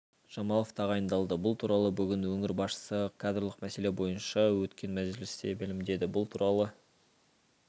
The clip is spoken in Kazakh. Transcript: жамалов тағайындалды бұл туралы бүгін өңір басшысы кадрлық мәселе бойынша өткен мәжілісте мәлімдеді бұл туралы